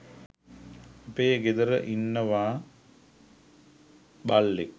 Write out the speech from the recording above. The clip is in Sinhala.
අපේ ගෙදර ඉන්නවා බල්ලෙක්.